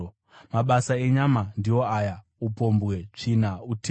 Mabasa enyama ndiwo aya: upombwe, tsvina, utere;